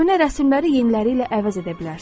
Köhnə rəsmləri yeniləri ilə əvəz edə bilərsiniz.